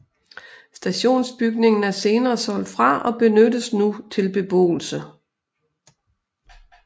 Stationsbygningen er senere solgt fra og benyttes nu til beboelse